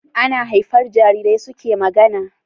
Ana haifar Jarirai suke magAna